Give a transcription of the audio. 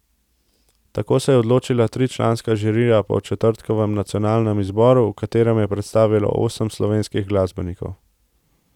Tako se je odločila tričlanska žirija po četrtkovem nacionalnem izboru, v katerem se je predstavilo osem slovenskih glasbenikov.